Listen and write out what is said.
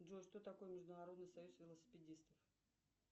джой что такое международный союз велосипедистов